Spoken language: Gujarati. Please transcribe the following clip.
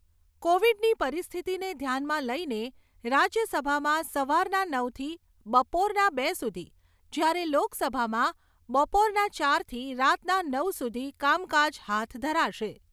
કોવિડની પરિસ્થિતીને ધ્યાનમાં લઈને રાજ્યસભામાં સવારના નવથી બપોરના બે સુધી, જ્યારે લોકસભામાં બપોરના ચારથી રાતના નવ સુધી કામકાજ હાથ ધરાશે.